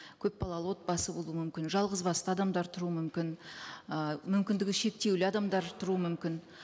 көпбалалы отбасы болуы мүмкін жалғыз басты адамдар тұруы мүмкін ы мүмкіндігі шектеулі адамдар тұруы мүмкін